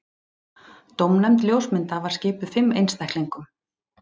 Dómnefnd ljósmynda var skipuð fimm einstaklingum